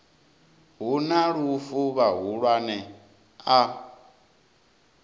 hu na lufu vhahulwane a